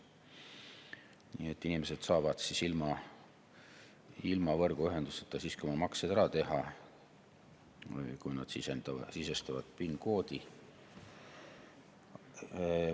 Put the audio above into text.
Nii et inimesed saavad ilma võrguühenduseta siiski oma maksed ära teha, kui nad sisestavad PIN‑koodi.